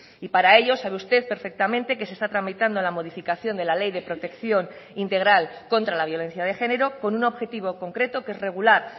y para ello sabe usted perfectamente que se está tramitando la modificación de la ley de protección integral contra la violencia de género con un objetivo concreto que es regular